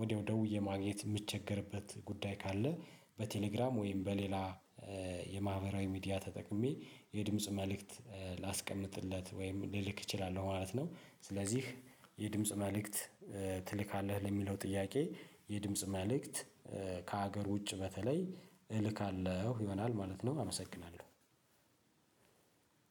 ወደው ደውዬ ማግኘት የምቸገርበት ጉዳይ ካለ በቴሌግራም ወይም በሌላ የማህበራዊ ሚዲያ ተጠቅሜ የድምጽ መልእክት ላስቀምጥለት ወይም ልልክ እችላለሁ። ማለት ነው ስለዚህ የድምጽ መልእክት ትልካለህ? ለሚለው ጥያቄ የድምጽ መልእክት ከሀገር ውጭ በተለይ እልካለሁ ይሆናል ማለት ነው አመሰግናለሁ።